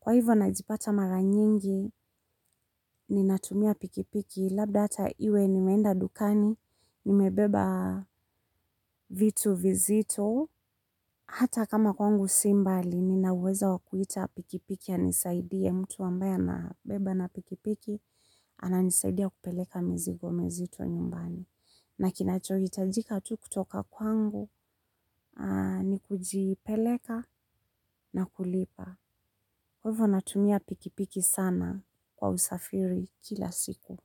Kwa hivyo najipata mara nyingi, ninatumia pikipiki, labda hata iwe nimeenda dukani, nimebeba vitu vizito. Hata kama kwangu si mbali, nina uwezo wa kuita pikipiki anisaidie mtu ambaye anabeba na pikipiki, ananisaidia kupeleka mizigo mizito nyumbani. Na kinacho hitajika tu kutoka kwangu, ni kujipeleka na kulipa. Kwa hivo natumia pikipiki sana kwa usafiri kila siku.